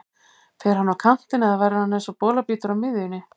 Fer hann á kantinn eða verður hann eins og bolabítur á miðjunni?